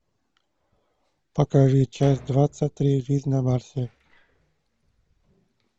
покажи часть двадцать три жизнь на марсе